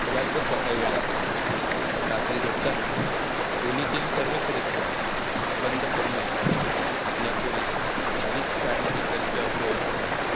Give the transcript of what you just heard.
घरातंच सकाळी व्यायाम करावा रात्री झोपताना खोलीतील सर्व खिडक्या बंद करू नये. आपल्या खोलीत अधिक काळ heater किंवा bloawer